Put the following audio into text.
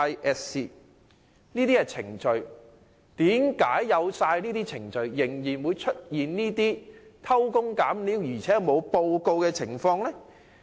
既已訂有這些程序，為何仍會出現偷工減料且沒有上報的情況？